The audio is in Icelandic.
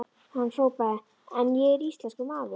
Hann hrópaði: En ég er íslenskur maður!